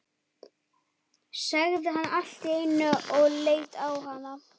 sagði hann allt í einu og leit á hana.